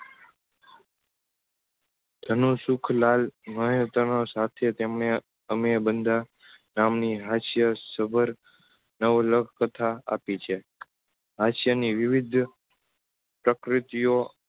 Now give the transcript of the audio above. ધનસુખલાલ મહેતા સાથે તેમને અમે બધાંરામની હાસ્ય સભર નવલખ તથા આપી છે. હાસ્યની વિવિધ પ્રકૃતિઓ